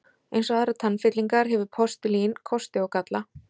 Eins og aðrar tannfyllingar hefur postulín kosti og galla.